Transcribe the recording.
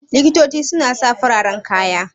Likitoci su na sa fararen kaya